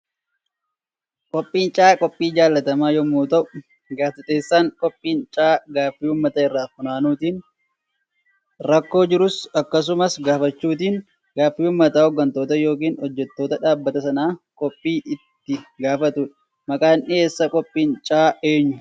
Qophiin caayaa qophiin jaallatamaa yommuu ta'u gaazexeessaan qophiin caayaa gaffii uummata irraa funaanuutiin rakkoo jirus akkasuma gaafachuutiin gaaffi uummata hoggantoota yookan hojjettoota dhaabbata sanaa qophii itti gaafaatudha. Maqaan dhiyeessa qophiin caayaa eenyu?